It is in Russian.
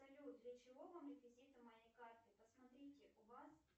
салют для чего вам реквизиты моей карты посмотрите у вас